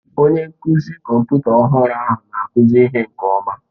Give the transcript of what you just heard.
Onye nkụzi kọmputa ọhụrụ ahụ na-akụzi ihe nke ọma.